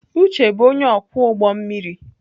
Uche bụ onye ọkwọ ụgbọ mmiri.